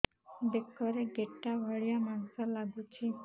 ବେକରେ ଗେଟା ଭଳିଆ ମାଂସ ଲାଗୁଚି